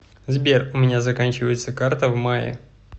сбер у меня заканчивается карта в мае